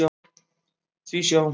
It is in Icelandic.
Því sjá!